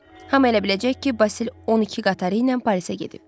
Hamı elə biləcək ki, Basil 12 qatarı ilə Parisə gedib.